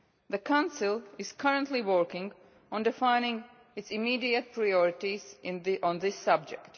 The Council is currently working on defining its immediate priorities on this subject.